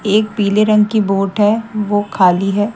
एक पीले रंग की बोट है वो खाली है।